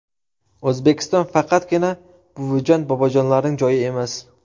O‘zbekiston faqatgina buvijon-bobojonlarning joyi emas.